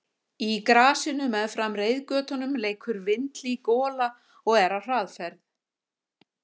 Í grasinu meðfram reiðgötunum leikur vinhlý gola og er á hraðferð.